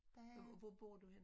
Hvor hvor bor du henne?